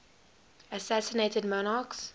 assassinated monarchs